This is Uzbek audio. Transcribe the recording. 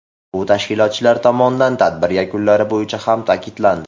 Bu tashkilotchilar tomonidan tadbir yakunlari bo‘yicha ham ta’kidlandi.